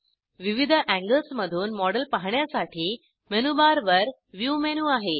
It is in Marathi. विविध एंगल्समधूल मॉडेल पाहण्यासाठी मेनूबारवर व्ह्यू मेनू आहे